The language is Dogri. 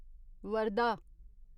वर्धा